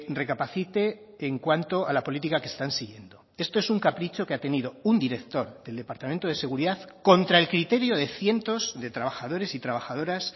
recapacite en cuanto a la política que están siguiendo esto es un capricho que ha tenido un director del departamento de seguridad contra el criterio de cientos de trabajadores y trabajadoras